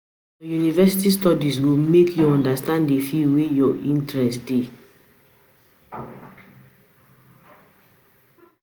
Na your university studies go make you understand the field wey your interest dey.